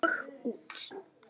Og út.